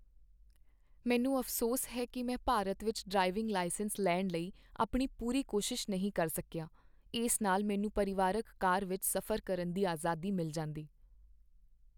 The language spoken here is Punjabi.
ਮੈਨੂੰ ਅਫ਼ਸੋਸ ਹੈ ਕੀ ਮੈਂ ਭਾਰਤ ਵਿੱਚ ਡਰਾਈਵਿੰਗ ਲਾਇਸੈਂਸ ਲੈਣ ਲਈ ਆਪਣੀ ਪੂਰੀ ਕੋਸ਼ਿਸ਼ ਨਹੀਂ ਕਰ ਸਕੀਆ। ਇਸ ਨਾਲ ਮੈਨੂੰ ਪਰਿਵਾਰਕ ਕਾਰ ਵਿੱਚ ਸਫ਼ਰ ਕਰਨ ਦੀ ਆਜ਼ਾਦੀ ਮਿਲ ਜਾਂਦੀ।